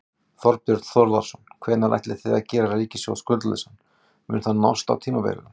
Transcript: Þorbjörn Þórðarson: Hvenær ætlið þið að gera ríkissjóð skuldlausan, mun það nást á tímabilinu?